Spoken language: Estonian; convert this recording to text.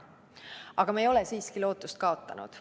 Aga me ei ole siiski lootust kaotanud.